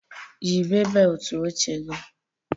Yịbee beelt oche gị